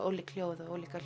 ólík hljóð og ólíka